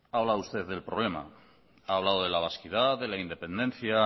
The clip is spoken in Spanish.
habla usted del problema ha hablado de la vasquidad de la independencia